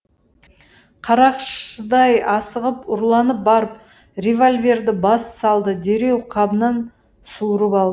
қарақшыдай асығып ұрланып барып револьверді бас салды дереу қабынан суырып ал